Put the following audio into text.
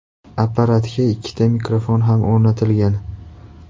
Apparatga ikkita mikrofon ham o‘rnatilgan.